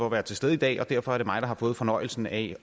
at være til stede i dag og derfor er det mig der har fået fornøjelsen af